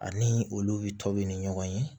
Ani olu tɔ bɛ ni ɲɔgɔn ye